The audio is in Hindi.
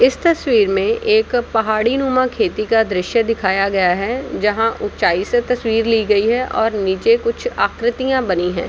इस तस्वीर में एक पहाड़ी नुमा खेती का दृश्य दिखाया गया है जहा ऊंचाई से तस्वीर ली गई हैऔर निचे कुछ आकृतिया बनी हैं।